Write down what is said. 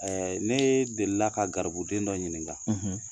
Ne delila ka garibuden dɔ ɲininka